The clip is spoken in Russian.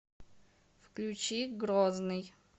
включи грозный